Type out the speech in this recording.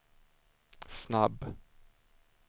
snabb